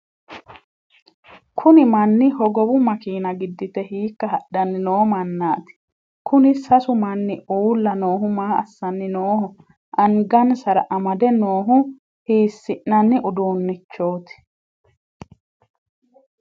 kuni manni hogowu makeena giddite hiikka hadhanni noo mannati? kuni sasu manni uulla noohu maa assani nooho? angansara amade noohu hiissi'nani uduunnichooti?